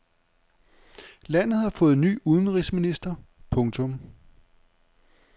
Landet har fået ny udenrigsminister. punktum